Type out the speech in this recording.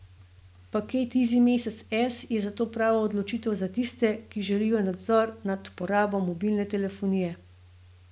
Paket izimesec S je zato prava odločitev za tiste, ki želijo nadzor nad porabo mobilne telefonije.